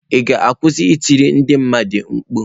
Ị ga-akwụsị ị tiri ndị mmadụ mkpu?